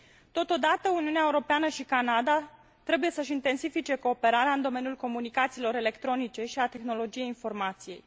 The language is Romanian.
Totodată, Uniunea Europeană și Canada trebuie să și intensifice cooperarea în domeniul comunicațiilor electronice și al tehnologiei informației.